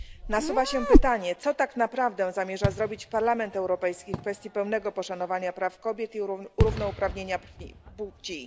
Nasuwa się pytanie, co tak naprawdę zamierza zrobić Parlament Europejski w kwestii pełnego poszanowania praw kobiet i równouprawnienia płci.